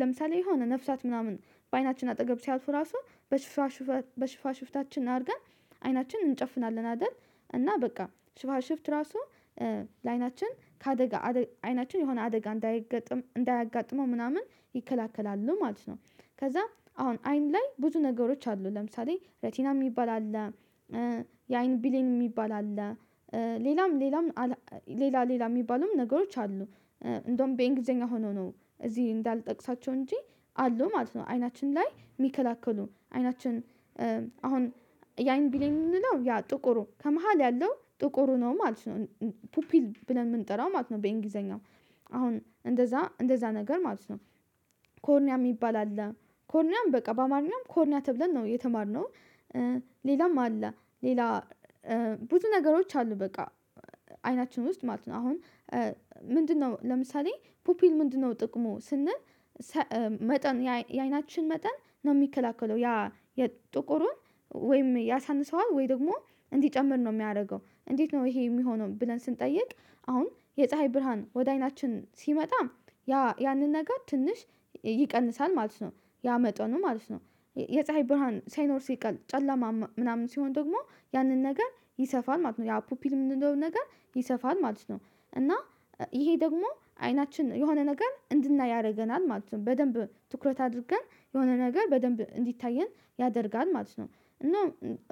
ለምሳሌ የሆነ ነፍሳት ምናምን በአይናችን አጠገብ ሲያወጡ ራሱ በሽፋ ሽፍታችን አድርገን አይናችንን እንጨፍናለን አይደል? እና በቃ ሽፍት ሽፍት ራሱ ለአይናችን ከአደጋ አደጋ አይናችን የሆነ አደጋ እንዳይገጥም እንዳያጋጥመው ምናምን ይከለክላሉ ማለት ነው። ከዛ አሁን አይን ላይ ብዙ ነገሮች አሉ ለምሳሌ ሬቲና የሚባል አለ። የአይን ብሌን የሚባል አለ። ሌላም ሌላም ሌላ ሌላ የሚባሉም ነገሮች አሉ። እንደውም በእንግሊዝኛ ሆኖ ነው እዚህ እንዳልጠቅሳቸው እንጂ አሉ ማለት ነው። አይናችን ላይ የሚከለክሉ አይናችን አሁን የአይን ብሌን የምንለው ያ ጥቁሩ ከመሃል ያለው ጥቁሩ ነው ማለት ነው። ፑፒል ብለን የምንጠራው ማለት ነው በእንግሊዘኛው አሁን እንደዛ እንደዛ ነገር ማለት ነው። ኮርኒያ የሚባል አለ። ኮርኒያም በቃ በአማርኛም ኮርኒያ ተብለን ነው የተማርነው። ሌላም አለ። ሌላ ብዙ ነገሮች አሉ በቃ አይናችን ውስጥ ማለት ነው አሁን ምንድነው ለምሳሌ ፖፒል ምንድነው ጥቅሙ ስንል? መጠን የአይናችን መጠን ነው የሚከላከለው ያ የጥቁሩን ወይም ያሳንሰዋል ወይ ደግሞ እንዲጨምር ነው የሚያደርገው። እንዴት ነው ይሄ የሚሆነውን ብለን ስንጠይቅ? አሁን የፀሀይ ብርሃን ወደ አይናችን ሲመጣ ያ ያንን ነገር ትንሽ ይቀንሳል ማለት ነው። ያ መጠኑ ማለት ነው። የፀሀይ ብርሃን ሳይኖር ሲቀር ጨለማ ምናምን ሲሆን ደግሞ ያንን ነገር ይሰፋል ማለት ነው። ያ ፑፒል የምንለው ነገር ይሰፋል ማለት ነው። እና ይሄ ደግሞ አይናችን የሆነ ነገር እንድናይ ያደርገናል ማለት ነው በደንብ ትኩረት አድርገን የሆነ ነገር በደንብ እንዲታየን ያደርጋል ማለት ነው።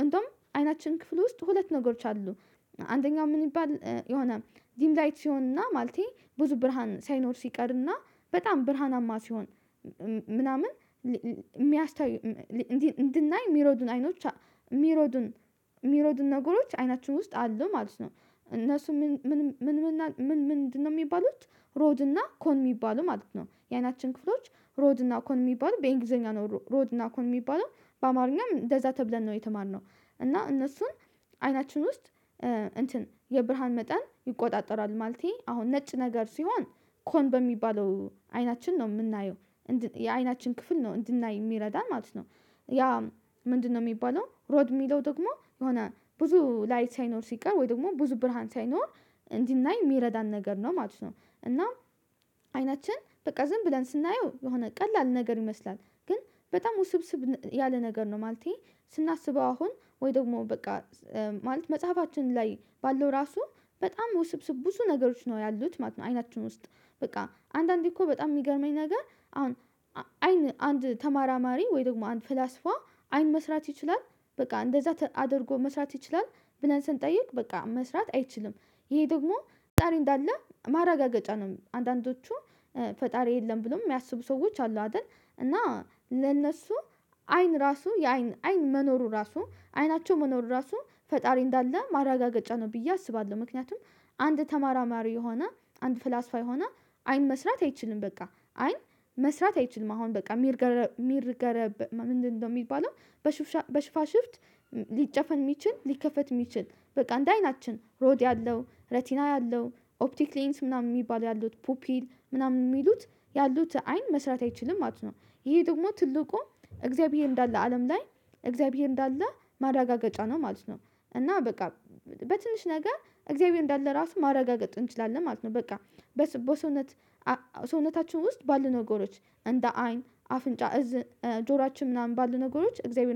እንደውም አይናችን ክፍል ውስጥ ሁለት ነገሮች አሉ። አንደኛው ምን ይባል የሆነ ዲም ላይት ሲሆንና ማለቴ ብዙ ብርሃን ሳይኖር ሲቀርና በጣም ብርሃናማ ሲሆን ምናምን የሚያሳይ እንዲህ እንድናይ የሚረዱን አይኖች የሚረዱን ነገሮች አይናችን ውስጥ አሉ ማለት ነው። እነሱ ምን ምን ምንድን ነው የሚባሉት? ሮድና ኮን የሚባሉ ማለት ነው የአይናችን ክፍሎች። ሮድና ኮን የሚባሉ በእንግሊዘኛ ነው ሮድ እና ኮን የሚባሉ በአማርኛም እንደዛ ተብለን ነው የተማርነው። እና እነሱን አይናችን ውስጥ እንትን የብርሃን መጠን ይቆጣጠራል ማለቴ አሁን ነጭ ነገር ሲሆን ኮን በሚባለው አይናችን ነው የምናየው የአይናችን ክፍል ነው እንድናይ የሚረዳ ማለት ነው። ያ ምንድነው? የሚባለው ሮድ የሚለው ደግሞ የሆነ ብዙ ላይት ሳይኖር ሲቀር ወይ ደግሞ ብዙ ብርሃን ሳይኖር እንዲናይ የሚረዳን ነገር ነው ማለት ነው። እና አይናችን በቃ ዝም ብለን ስናየው የሆነ ቀላል ነገር ይመስላል ግን በጣም ውስብስብ ያለ ነገር ነው። ማለቴ ስናስበው አሁን ወይ ደግሞ በቃ ማለት መጽሐፋችን ላይ ባለው ራሱ በጣም ውስብስብ ብዙ ነገሮች ነው ያሉት ማለት ነው። አይናችን ውስጥ በቃ አንዳንዴ እኮ በጣም የሚገርመኝ ነገር አሁን አይን አንድ ተመራማሪ ወይ ደግሞ አንድ ፍላስፋ አይን መስራት ይችላል። በቃ እንደዛ አድርጎ መስራት ይችላል። ብለን ስንጠይቅ በቃ መስራት አይችልም። ይሄ ደግሞ ፈጣሪ እንዳለ ማረጋገጫ ነው። አንዳንዶቹ ፈጣሪ የለም ብሎ የሚያስቡ ሰዎች አሉ አይደል? እና ለነሱ አይን ራሱ የአይን አይን መኖሩ ራሱ አይናቸው መኖሩ ራሱ ፈጣሪ እንዳለ ማረጋገጫ ነው ብዬ አስባለሁ። ምክንያቱም አንድ ተመራማሪ የሆነ አንድ ፍላስፋ የሆነ አይን መስራት አይችልም በቃ አይን መስራት አይችልም። አሁን በቃ ሚርገበገብ የሚርገር ምንድነው? የሚባለው በሽፋሽፍት ሊጨፈን የሚችል ሊከፈት የሚችል በቃ እንደ አይናችን ሮድ ያለው ሬቲና ያለው ኦፕቲክ ሌንስ ምናምን የሚባል ያሉት ፑፒል ምናምን የሚሉት ያሉት አይን መስራት አይችልም ማለት ነው። ይሄ ደግሞ ትልቁ እግዚአብሔር እንዳለ አለም ላይ እግዚአብሔር እንዳለ ማዳጋጫ ነው ማለት ነው። እና በቃ በትንሽ ነገር እግዚአብሔር እንዳለ ራሱን ማረጋገጥ እንችላለን ማለት ነው። በቃ በሰውነት ሰውነታችን ውስጥ ባለ ነገሮች እንደ አይን አፍንጫ ጆሯችን ምናምን ባለ ነገሮች እግዚአብሔር